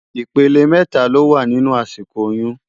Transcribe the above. Ipélé mètá ló wá ninú àsíkó óyùn